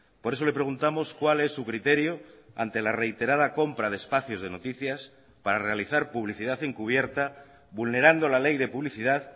por eso le preguntamos cuál es su criterio ante la reiterada compra de espacios de noticias para realizar publicidad encubierta vulnerando la ley de publicidad